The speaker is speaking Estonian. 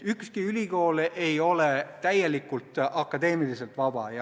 Ükski ülikool ei ole akadeemiliselt täielikult vaba.